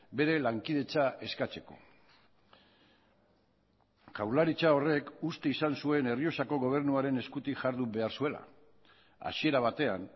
bere lankidetza eskatzeko jaurlaritza horrek uste izan zuen errioxako gobernuaren eskutik jardun behar zuela hasiera batean